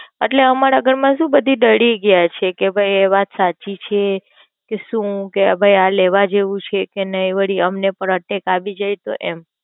એટલે અમારા ઘર મા શું બધી ડરી ગયા છે કે ભઈ એ વાત સાચી છે કે શું આ ભઈ લેવા જેવું છે કે નય વલી અમને પણ attack આવી જાય તો એમ?